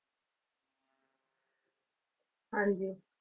ਹਾਂਜੀ।